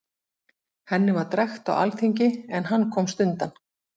Henni var drekkt á alþingi, en hann komst undan.